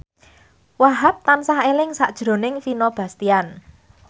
Wahhab tansah eling sakjroning Vino Bastian